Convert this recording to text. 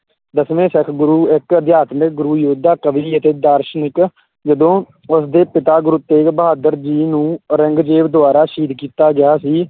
ਦਸਵੇਂ ਸਿੱਖ ਗੁਰੂ, ਇੱਕ ਅਧਿਆਤਮਿਕ ਗੁਰੂ, ਯੋਧਾ, ਕਵੀ ਅਤੇ ਦਾਰਸ਼ਨਿਕ ਜਦੋਂ ਉਸਦੇ ਪਿਤਾ, ਗੁਰੂ ਤੇਗ ਬਹਾਦਰ ਜੀ ਨੂੰ ਔਰੰਗਜ਼ੇਬ ਦੁਆਰਾ ਸ਼ਹੀਦ ਕੀਤਾ ਗਿਆ ਸੀ,